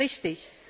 Das ist richtig.